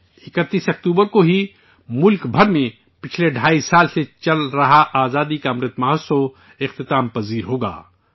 31 اکتوبر کو ہی ملک بھر میں گزشتہ ڈھائی سال سے چل رہے آزادی کے امرت مہوتسو کا اختتام ہوگا